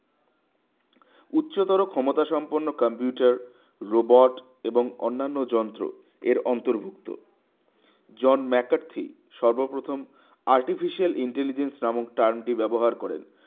উচ্চতর ক্ষমতা সম্পন্ন computer robot এবং অন্যান্য যন্ত্র এর অন্তর্ভুক্ত জন ম্যাকার্থি সর্বপ্রথম artificial intelligent নামক term টি ব্যবহার করেন